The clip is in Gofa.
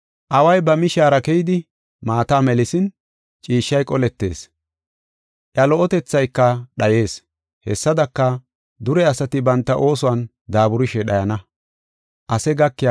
Away ba mishaara keyidi maata melisin, ciishshay qoletees; iya lo77otethayka dhayees. Hessadaka, dure asati banta oosuwan daaburishe dhayana.